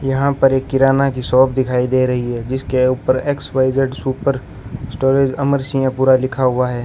यहां पर एक किराना की शॉप दिखाई दे रही है जिसके ऊपर X Y Z super storage Amar Singh पूरा लिखा हुआ है।